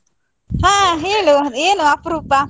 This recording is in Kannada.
ಹಾ ಹೇಳು, ಏನು ಅಪ್ರೂಪ?